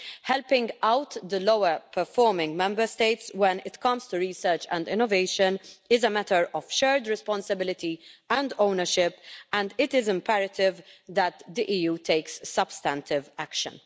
Helping out the lower-performing Member States when it comes to research and innovation is a matter of shared responsibility and ownership, and it is imperative that the EU take substantive action.